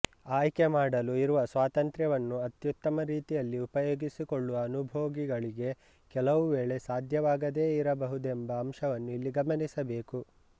ಆಯ್ಕೆ ಮಾಡಲು ಇರುವ ಸ್ವಾತಂತ್ರ್ಯವನ್ನು ಅತ್ಯುತ್ತಮ ರೀತಿಯಲ್ಲಿ ಉಪಯೋಗಿಸಿಕೊಳ್ಳಲು ಅನುಭೋಗಿಗಳಿಗೆ ಕೆಲವು ವೇಳೆ ಸಾಧ್ಯವಾಗದೆ ಇರಬಹುದೆಂಬ ಅಂಶವನ್ನು ಇಲ್ಲಿ ಗಮನಿಸಬೇಕು